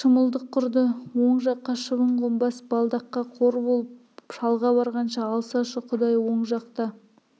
шымылдық құрды оң жаққа шыбын қонбас балдаққа қор болып шалға барғанша алсашы құдай оң жақта